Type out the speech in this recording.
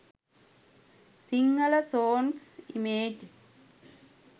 sinhala songs image